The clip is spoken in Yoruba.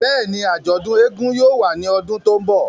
Bẹ́ẹ̀ni, ajọdun éégún yóò wa ni ọdun to nbọ.